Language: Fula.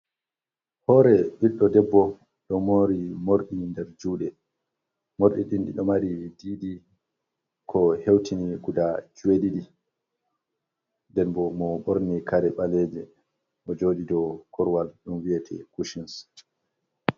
Hôre biɗɗo debbo, ɗo mÔri morɗi ŋder jùɗe. Morɗi ɗiɗi ɗo heutini guda jeɗiɗi, ŋden bo mo ɓorni kare ɓalêje bo joɗi dow korwal ɗum vi'ete kusins